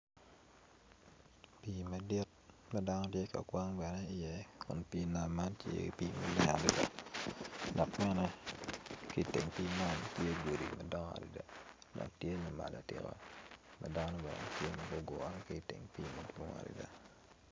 Pii madit ma dano gitye ka kwan iye kun pii nam man tye pii maleng adada dok ki i teng pii man tye godi madwong adada dok tye ma lac atika ma dano bene gitye ma gugure madwong adada.